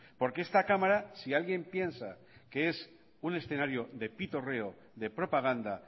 porque esta cámara si alguien piensa que es un escenario de pitorreo de propaganda